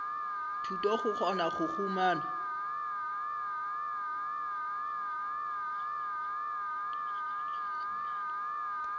thuto go kgona go humana